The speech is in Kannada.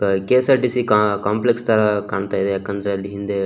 ಕೆ_ಎಸ್_ಆರ್_ಟಿ_ಸಿ ಕಾಂಪ್ಲೆಕ್ಸ್ ತರ ಕಾಣ್ತಾಯಿದೆ ಯಾಕಂದ್ರೆ ಅಲ್ಲಿ ಹಿಂದೆ --